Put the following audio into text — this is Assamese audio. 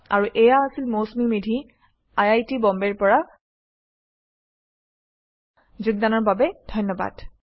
আৰু এয়া আছিল Mousumi Medhi I I T বম্বেৰ পৰা অংশগ্ৰহণৰ বাবে ধন্যবাদ